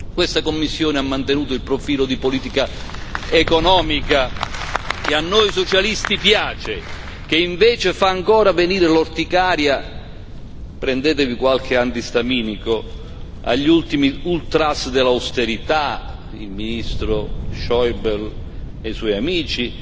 Questa Commissione ha mantenuto un profilo di politica economica che a noi Socialisti piace, che invece fa ancora venire l'orticaria prendetevi qualche antistaminico agli ultimi ultras dell'austerità il ministro Schäuble e i suoi amici.